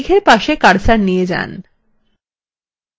এখন মেঘএর পাশে cursor নিয়ে যান